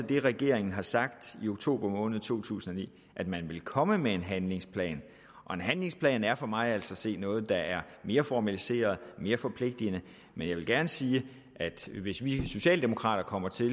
det regeringen har sagt i oktober måned to tusind og ni er at man ville komme med en handlingsplan og en handlingsplan er for mig at se altså noget der er mere formaliseret og mere forpligtende men jeg vil gerne sige at hvis vi socialdemokrater kommer til